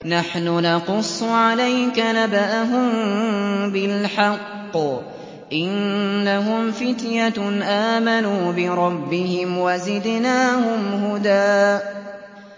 نَّحْنُ نَقُصُّ عَلَيْكَ نَبَأَهُم بِالْحَقِّ ۚ إِنَّهُمْ فِتْيَةٌ آمَنُوا بِرَبِّهِمْ وَزِدْنَاهُمْ هُدًى